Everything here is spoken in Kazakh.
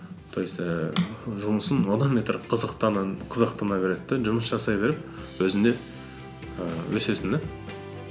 то есть ііі жұмысым одан бетер қызықтана береді де жұмыс жасай беріп өзің де ііі өсесің де